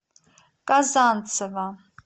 казанцева